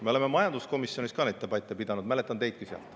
Me oleme majanduskomisjonis ka neid debatte pidanud, mäletan teidki sealt.